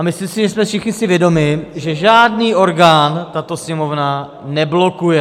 A myslím si, že jsme si všichni vědomi, že žádný orgán tato Sněmovna neblokuje.